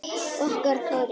Okkar Kári.